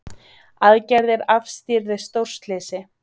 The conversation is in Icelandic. Aðgerðir afstýrðu stórslysi